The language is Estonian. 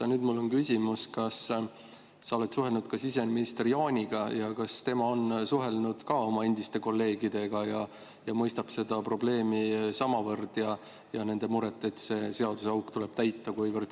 Aga nüüd mul on küsimus: kas sa oled suhelnud ka siseminister Jaaniga ja kas tema on suhelnud ka oma endiste kolleegidega ja mõistab seda probleemi ja nende muret, et see seaduseauk tuleb täita?